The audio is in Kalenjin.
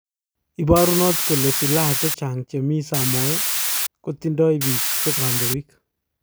Iparunot kole silaha chechang chemii samoei kotindoi pik che kandoik